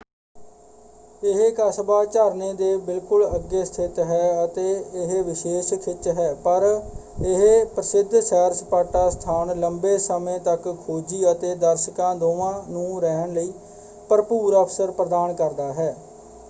ਇਹ ਕਸਬਾ ਝਰਨੇ ਦੇ ਬਿਲਕੁਲ ਅੱਗੇ ਸਥਿਤ ਹੈ ਅਤੇ ਇਹ ਵਿਸ਼ੇਸ਼ ਖਿੱਚ ਹੈ ਪਰ ਇਹ ਪ੍ਰਸਿਧ ਸੈਰ-ਸਪਾਟਾ ਸਥਾਨ ਲੰਬੇ ਸਮੇਂ ਤੱਕ ਖੋਜੀ ਅਤੇ ਦਰਸ਼ਕਾਂ ਦੋਵਾਂ ਨੂੰ ਰਹਿਣ ਲਈ ਭਰਪੂਰ ਅਵਸਰ ਪ੍ਰਦਾਨ ਕਰਦਾ ਹੈ।